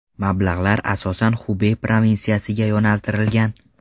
Mablag‘lar asosan Xubey provinsiyasiga yo‘naltirilgan.